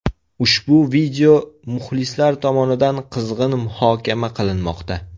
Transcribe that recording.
Ushbu video muxlislar tomonidan qizg‘in muhokama qilinmoqda.